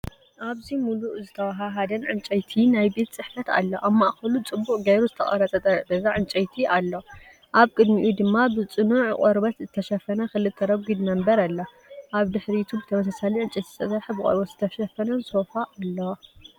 ኣብዚ ምሉእ ዝተዋሃሃደን ዕንጨይቲ ናይ ቤት ጽሕፈት ኣሎ። ኣብ ማእከሉ ጽቡቕ ጌሩ እተቐርጸ ጠረጴዛ ዕንጨይቲ ኣሎ። ኣብ ቅድሚኡ ድማ ብጽኑዕ ቈርበት እተሸፈነ ክልተ ረጒድ መንበር ኣሎ። ኣብ ድሕሪትኀ ብተመሳሳሊ ዕንጨይቲ ዝተሰርሐን ብቆርበት ዝተሸፈነን ሶፋ ኣሎ።